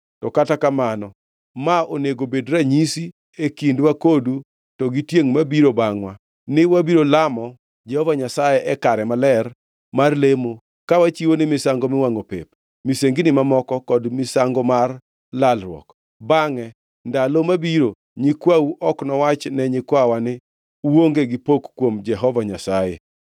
To kata kamano, ma onego obed ranyisi e kindwa kodu to gi tiengʼ mabiro bangʼwa, ni wabiro lamo Jehova Nyasaye e kare maler mar lemo ka wachiwone misango miwangʼo pep, misengini mamoko kod misango mar lalruok. Bangʼe ndalo mabiro nyikwau ok nowach ne nyikwawa ni, ‘Uonge gi pok kuom Jehova Nyasaye.’